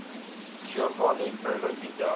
giovanni pierluigi da